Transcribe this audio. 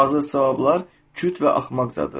Hazır cavablar küt və axmaqcadır.